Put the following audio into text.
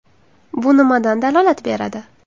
Bu nimadan dalolat beradi?